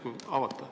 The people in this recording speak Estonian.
Järsku avate.